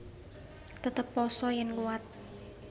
Tetep pasa yèn kuwat